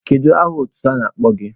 Kedu aha otutu a na-akpọ gị?